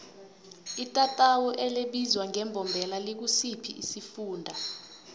itatawu elibizwa ngembombela likusiphi isifunda